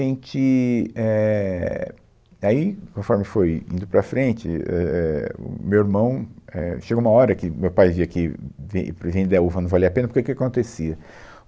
A gente, éh, aí, conforme foi indo para frente, ãh, éh, o meu irmão, éh... Chegou uma hora que meu pai via que ve, vender a uva não valia a pena, porque o que que acontecia?